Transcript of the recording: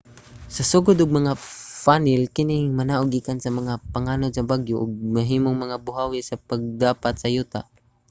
sa sugod mga funnel kini nga manaog gikan sa mga panganod sa bagyo ug mahimong mga buhawi sa pagdapat sa yuta